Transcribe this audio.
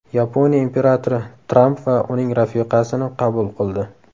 Yaponiya imperatori Tramp va uning rafiqasini qabul qildi.